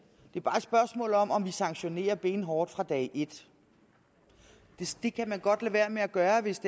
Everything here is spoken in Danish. det er bare et spørgsmål om om vi sanktionerer benhårdt fra dag et det kan man godt lade være med at gøre hvis